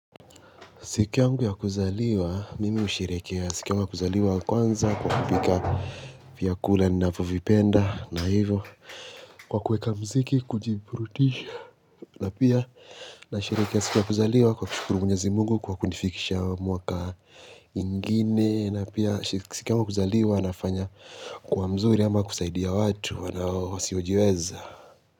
Siku yangu ya kuzaliwa, mimi usherekea. Siku yangu ya kuzaliwa kwanza kwa kupika fyakula ni napo vipenda na hivo. Kwa kuweka mziki, kujiburutisha. Na pia, na sherekea siku yaku zaliwa kwa kushukuru Mwenyezi Mungu kwa kunifikisha mwaka ingine. Na pia, siku yangu ya kuzaliwa nafanya, kuwa mzuri ama kusaidia watu. Wasio sjiweza.